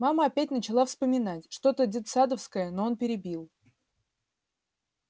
мама опять начала вспоминать что то детсадовское но он перебил